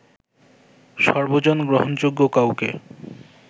সর্বজন গ্রহনযোগ্য কাউকে